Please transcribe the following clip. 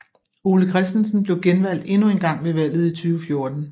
Ole Christensen blev genvalgt endnu engang ved valget i 2014